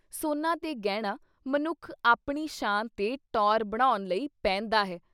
ਸੋਨਾ ਤੇ ਗਹਿਣਾ ਮਨੁੱਖ ਆਪਣੀ ਸ਼ਾਨ ਤੇ ਟੌਅਰ ਬਣਾਉਣ ਲਈ ਪਹਿਨਦਾ ਹੈ।